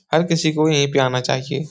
हर किसी को यहीं पे आना चाहिये।